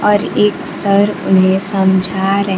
और एक सर उन्हें समझा रहे--